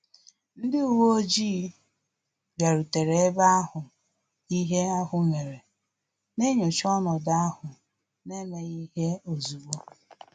Ndị uwe ojii bịarutere eba ahụ ihe ahụ mere, na-enyocha ọnọdụ ahụ n'emeghi ihe ozigbo